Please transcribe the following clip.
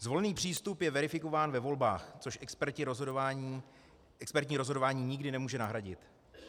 Zvolený přístup je verifikován ve volbách, což expertní rozhodování nikdy nemůže nahradit.